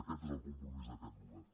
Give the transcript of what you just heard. aquest és el compromís d’aquest govern